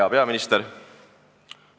Hea peaminister!